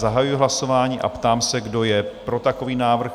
Zahajuji hlasování a ptám se, kdo je pro takový návrh?